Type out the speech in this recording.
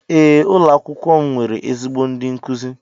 Ee ụlọ akwụkwọ m nwere ezigbo ndi nkuzi.